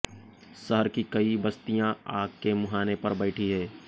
शहर की कई बस्तियां आग के मुहाने पर बैठी हैं